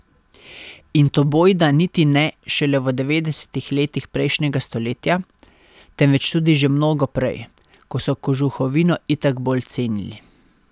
In to bojda niti ne šele v devetdesetih letih prejšnjega stoletja, temveč tudi že mnogo prej, ko so kožuhovino itak bolj cenili.